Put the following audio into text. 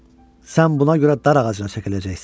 Sən buna görə dar ağacına çəkiləcəksən.